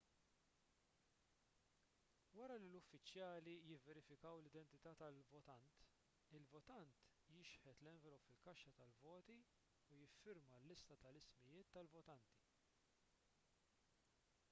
wara li l-uffiċjali jivverifikaw l-identità tal-votant il-votant jixħet l-envelop fil-kaxxa tal-voti u jiffirma l-lista tal-ismijiet tal-votanti